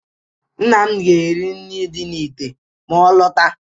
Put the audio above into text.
Nna m ga-eri nri dị na ìtè ma ọ lọta.